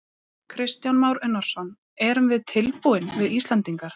Kristján Már Unnarsson: Erum við tilbúin við Íslendingar?